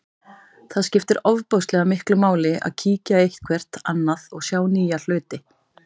Það skiptir ofboðslega miklu máli að kíkja eitthvert annað og sjá nýja hluti.